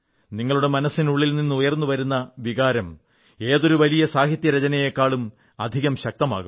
നിങ്ങളുടെ മനസ്സിനുള്ളിൽ നിന്നുയർന്നുവന്ന വികാരം ഏതൊരു വലിയ സാഹിത്യരചനയേക്കാളും അധികം ശക്തമാകും